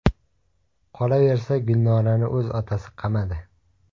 Qolaversa, Gulnorani o‘z otasi qamadi.